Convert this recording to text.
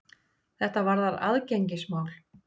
Þetta varðar aðgengismál.